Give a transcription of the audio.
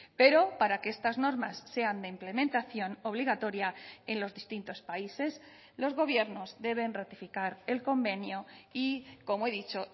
pero para que estas normas sean de implementación obligatoria en los distintos países los gobiernos deben ratificar el convenio y como he dicho